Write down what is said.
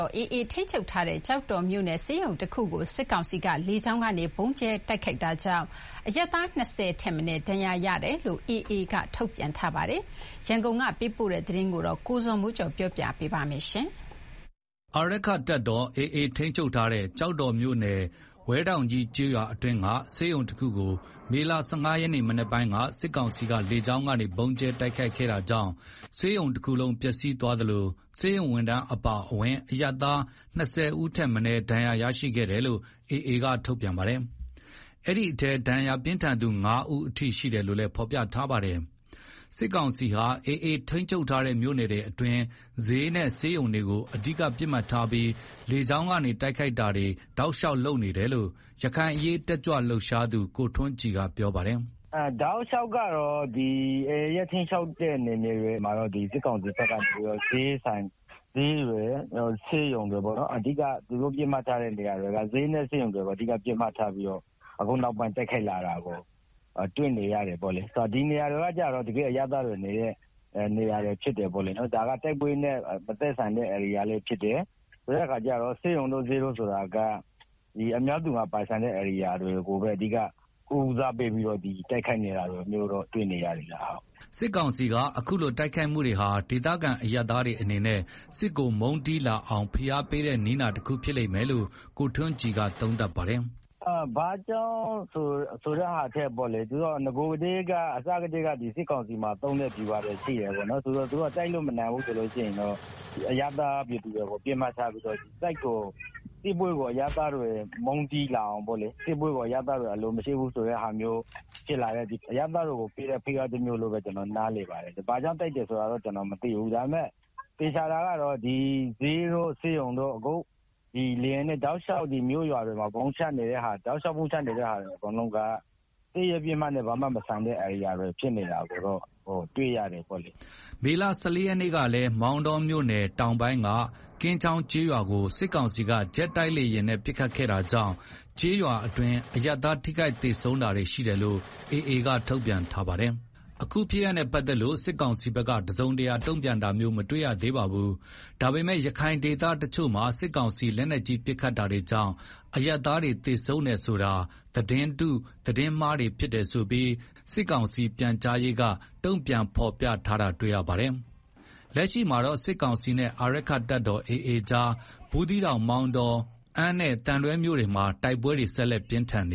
ော် AA ထိန်းချုပ်ထားတဲ့ ကျောက်တော်မြို့နယ်ဆေးရုံတခုကို စစ်ကောင်စီက လေကြောင်းကနေ ဗုံးကြဲတိုက်ခိုက်တာကြောင့် အရပ်သား ၂ဝ ထက်မနည်း ဒဏ်ရာရရှိခဲ့တယ်လို့ AA ကထုတ်ပြန်ထားပါတယ်။ ရန်ကုန်က ပေးပို့တဲ့သတင်းကို ကိုဇော်မိုးကျော်က တင်ပြပေးထားပါတယ်။ အာရက္ခတပ်တော် AA ထိန်းချုပ်ထားတဲ့ ကျောက်တော်မြို့နယ် ဝဲထောင့်ကြီး ကျေးရွာအတွင်းက ဆေးရုံတခုကို မေလ ၁၅ ရက်နေ့မနက်ပိုင်း စစ်ကောင်စီက လေကြောင်းကနေ ဗုံးကြဲတိုက်ခိုက်ခဲ့တာကြောင့် ဆေးရုံတခုလုံးပျက်စီးသွားသလို ဆေးရုံဝန်ထမ်းအပါအဝင် အရပ်သား ၂ဝ ထက်မနည်းဒဏ်ရာရရှိခဲ့တယ်လို့ AA က ထုတ်ပြန်ပါတယ်။ အဲဒီထဲ ဒဏ်ရာပြင်းထန်သူ ၅ ဦးအထိရှိတယ်လို့လည်း ဖော်ပြပါတယ်။ စစ်ကောင်စီဟာ AA ထိန်းချုပ်ထားတဲ့ မြို့နယ်တွေအတွင်း စျေးနဲ့ ဆေးရုံတွေကို အဓိကပစ်မှတ်ထားပြီး လေကြောင်းတိုက်ခိုက်တာတွေ တောက်လျှောက်လုပ်နေတယ်လို့ ရခိုင်အရေးတက်ကြွလှုပ်ရှားသူ ကိုထွန်းကြည်ကပြောပါတယ်။ “တောက်လျှောက်ကတော့ AA ထိန်းချုပ်ထားတဲ့နယ်မြေတွေကို စစ်ကောင်စီက စျေးတွေ၊ ဆေးရုံတွေ အဓိက သူတို့ ပစ်မှတ်ထားပြီးတော့ အခုနောက်ပိုင်း ပိုတိုက်ခိုက်လာတယ်။ ဒီနေရာကကျတော့ တကယ့်အရပ်သားတွေနေတဲ့နေရာပေါ့လေ၊ ဒါက တိုက်ပွဲနဲ့မသက်ဆိုင်တဲ့နေရာလည်းဖြစ်တယ်၊ ဆိုတော့ ဆေးရုံတို့၊ စျေးတို့ဆိုတာက အများပြည်သူပိုင်ဆိုင်တဲ့နေရာတွေကိုဦးစားပေးပြီး တိုက်ခိုက်နေတာကိုတွေ့နေရတယ်။” စစ်ကောင်စီရဲ့ အခုလိုတိုက်ခိုက်မှုတွေဟာ ဒေသခံအရပ်သားတွေအနေနဲ့ စစ်ကိုမုန်းတီးလာအောင် ဖိအားပေးတဲ့နည်းနာတခုဖြစ်လိမ့်မယ်လို့ ကိုထွန်းကြည်က သုံးသပ်ပါတယ်။ “ဘာကြောင့်ပစ်တယ်ဆိုတာထက် နဂိုကတည်းက စစ်ကောင်စီမှာ ဗျူဟာရှိတယ်ပေါ့နော်။ သူတို့က တိုက်လို့မနိုင်ရင် အရပ်သားပြည်သူတွေကို ပစ်မှတ်ထားပြီးတော့ စစ်ကို အရပ်သားပြည်သူတွေ မုန်းတီးလာအောင်၊ စစ်ပွဲကို အရပ်သားတွေ အလိုမရှိအောင် ဖိအားတမျိုးနည်းတမျိုးလို့ပဲ ကျနော်နားလည်တယ်။ ဘာကြောင့်ပစ်တယ်ဆိုတာတော့ ကျနော်မသိဘူး။ ဒါပေမယ့် သေချာတာတခုက အခုတောက်လျှောက် စျေးတို့၊ ဆေးရုံးတို့၊ မြို့ရွာတွေကို ဗုံးချနေတာကတော့ စစ်ရေးပစ်မှတ်နဲ့ဘာမှ မဆိုင်တဲ့ဧရိယာတွေ ဖြစ်နေတာကိုတော့တွေ့ရတယ်။” မေလ ၁၄ ရက်နေ့ကလည်း မောင်တောမြို့နယ်တောင်ပိုင်းက ကင်းချောင်းကျေးရွာကို စစ်ကောင်စီက ဂျက်တိုက်လေယာဉ်နဲ့ ပစ်ခတ်ခဲ့တာကြောင့် ကျေးရွာအတွင်း အရပ်သားထိခိုက်သေဆုံး တာတွေရှိတယ် AA က ထုတ်ပြန်ထားပါတယ်။ အခုဖြစ်ရပ်နဲ့ပတ်သက်လို့ စစ်ကောင်စီဘက်က တစုံတရာတုံ့ပြန်တာမျိုး မတွေ့ရသေးပါဘူး။ ဒါပေမယ့် ရခိုင်ဒေသတချို့မှာ စစ်ကောင်စီလက်နက်ကြီးပစ်ခတ်တာကြောင့် အရပ်သားတွေသေဆုံးတယ်ဆိုတာ သတင်းတု၊ သတင်းမှားတွေဖြစ်တယ်ဆိုပြီ စစ်ကောင်စီက ပြန်ကြားရေးက တုံ့ပြန်ဖော်ပြထားတာတွေ့ရပါတယ်။ လက်ရှိမှာတော့ စစ်ကောင်စီနဲ့ အာရက္ခတပ်တော် AA ကြား ဘူးသီးတောင်၊ မောင်တော၊ အမ်းနဲ့သံတွဲမြို့နယ်တွေမှာ တိုက်ပွဲတွေဆက်လက်ပြင်းထန်န